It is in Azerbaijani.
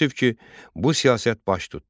Təəssüf ki, bu siyasət baş tutdu.